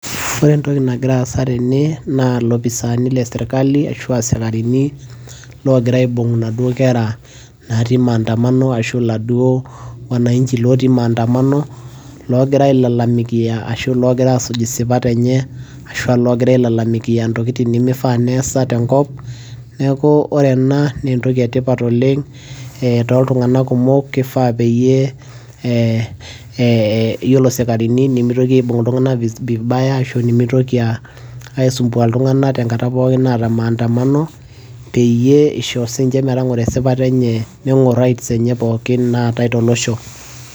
ore entoki nagira aasa tene naa ilopisani lesirkali ashua isikarini logira aibung inaduo kera natii maandamano ashu iladuo wananchi lotii maandamano logira ailalamikia ashu logira asuj isipat enye ashua logira ailalamikia intokitin nemifaa neesa tenkop neeku ore ena naa entoki etipat oleng eh, toltung'anak kumok kifaa peyie eh, yiolo isikarini nimitoki aibung iltung'anak vibaya ashu nemitoki uh, aisumbua iltung'anak tenkata pookin naata maandamano peyie isho sinche metang'oro esipata enye neng'orr rights enye pookin natae tolosho.